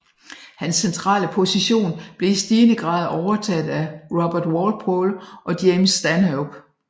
Hans centrale position blev i stigende grad overtaget af Robert Walpole og James Stanhope